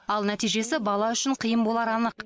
ал нәтижесі бала үшін қиын болары анық